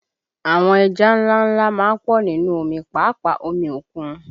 Àwọn ẹja ńlá ńlá má ń pọ̀ nínú omi, pàápàá omi òkun